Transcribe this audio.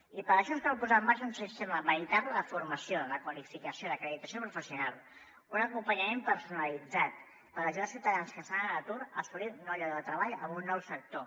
i per això ens cal posar en marxa un sistema ve·ritable de formació de qualificació d’acreditació professional un acompanyament personalitzat per ajudar els ciutadans que estan en atur a assolir un nou lloc de tre·ball en un nou sector